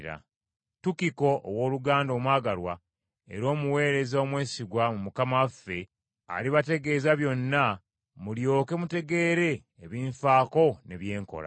Tukiko, owooluganda omwagalwa era omuweereza omwesigwa mu Mukama waffe, alibategeeza byonna mulyoke mutegeere ebinfaako ne bye nkola.